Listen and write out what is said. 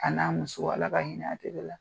A n'a muso Ala ka hinɛ a ATT la